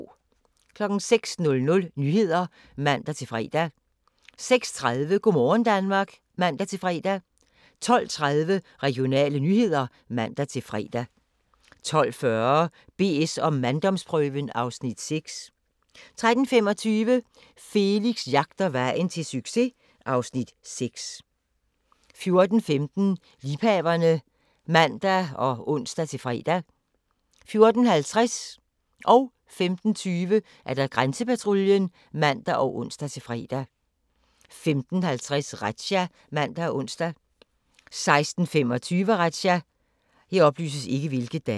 06:00: Nyhederne (man-fre) 06:30: Go' morgen Danmark (man-fre) 12:30: Regionale nyheder (man-fre) 12:40: BS & manddomsprøven (Afs. 6) 13:25: Felix jagter vejen til succes (Afs. 6) 14:15: Liebhaverne (man og ons-fre) 14:50: Grænsepatruljen (man og ons-fre) 15:20: Grænsepatruljen (man og ons-fre) 15:50: Razzia (man og ons) 16:25: Razzia